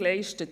Jürg